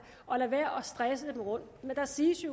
og lade være med stresse dem rundt men der siges